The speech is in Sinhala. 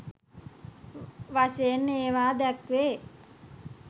වශයෙන් ඒවා දැක්වේ.